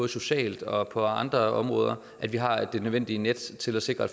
sociale og på andre områder at vi har det nødvendige net til at sikre at